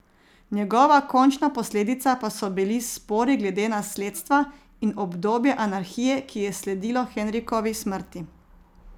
Njegova končna posledica pa so bili spori glede nasledstva in obdobje anarhije, ki je sledilo Henrikovi smrti.